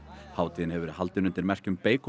hátíðin hefur verið haldin undir merkjum